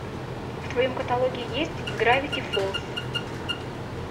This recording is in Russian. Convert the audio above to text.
в твоем каталоге есть гравити фолз